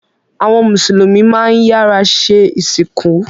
Awọn Musulumi mán iyàra sẹ́ isinku